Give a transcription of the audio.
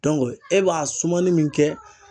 e b'a sumani min kɛ